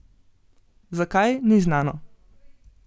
Zakaj, ni znano.